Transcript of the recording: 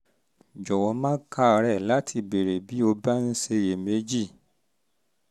jọ̀wọ́ má káàárẹ́ láti béèrè um bí um o bá ṣì ń ṣiyèméjì